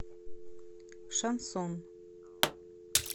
шансон